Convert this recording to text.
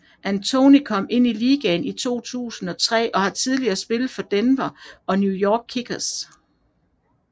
Anthony kom ind i ligaen i 2003 og har tidligere spillet for Denver Nuggets og New York Knicks